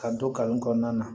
Ka don kalan kɔnɔna na